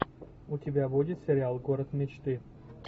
у тебя будет сериал город мечты